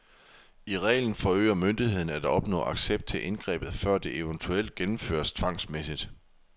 I reglen forsøger myndigheden at opnå accept til indgrebet før det eventuelt gennemføres tvangsmæssigt.